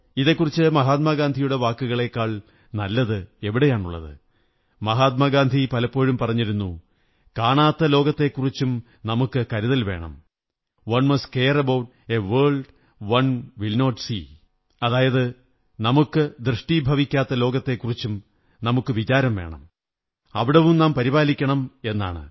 ഇതെക്കുറിച്ച് മഹാത്മാഗാന്ധിയുടെ വാക്കുകളേക്കാൾ നല്ലതെവിടെയുണ്ട് മഹാത്മാഗാന്ധി പലപ്പോഴും പറഞ്ഞിരുന്നു കാണാത്ത ലോകത്തെക്കുറിച്ചും നമുക്കു കരുതൽ വേണം one must care about a world one will not see അതായത് നമുക്കു ദൃഷ്ടീഭവിക്കാത്ത ലോകത്തെക്കുറിച്ചും നമുക്ക് വിചാരം വേണം അവിടവും നാം പരിപാലിക്കണം എന്നാണ്